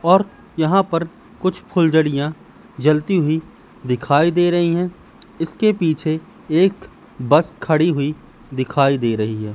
और यहां पर कुछ फुलझड़िया जलती हुई दिखाई दे रही है इसके पीछे एक बस खड़ी हुई दिखाई दे रही है।